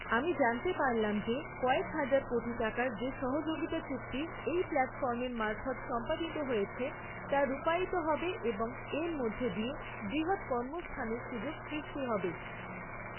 আমি জানতে পারলাম যে কয়েক হাজার কোটি টাকার যে সহযোগিতা চুক্তি এই প্ল্যাটফর্মের মারফৎ সম্পাদিত হয়েছে তা রূপায়িত হবে এবং এর মধ্য দিয়ে বৃহৎ কর্মসংস্থানের সুযোগ সৃষ্টি হবে।